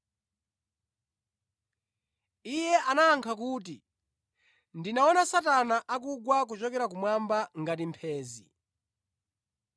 Iye anayankha kuti, “Ndinaona Satana akugwa kuchokera kumwamba ngati mphenzi.